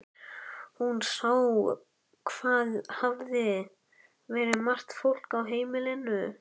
Hún sá hvað hafði verið margt fólk á heimilinu.